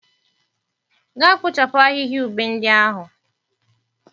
Gaa kpochapu ahịhịa ube ndị ahụ.